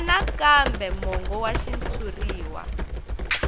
wana kambe mongo wa xitshuriwa